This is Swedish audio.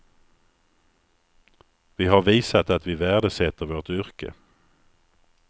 Vi har visat att vi värdesätter vårt yrke.